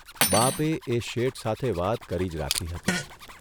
બાપે એ શેઠ સાથે વાત કરી જ રાખી હતી.